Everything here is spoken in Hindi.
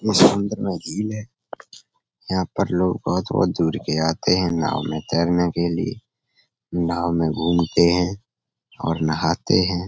ये झील है। यहाँ पर लोग बोहोत -बोहोत दूर के आते हैं नाव में तेरने के लिए। नाव में घुमते है और नहाते हैं।